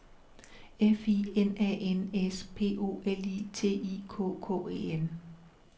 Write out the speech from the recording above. F I N A N S P O L I T I K K E N